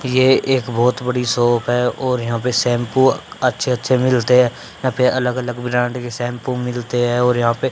ये एक बहुत बड़ी शॉप है और यहां पे शैंपू अच्छे अच्छे मिलते है यहां पे अलग अलग ब्रैंड के शैंपू मिलते है और यहां पे--